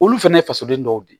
Olu fɛnɛ ye fasoden dɔw de ye